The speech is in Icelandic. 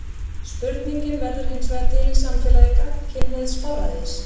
Spurningin verður hinsvegar til í samfélagi gagnkynhneigðs forræðis.